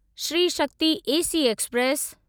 Shri Shakti AC express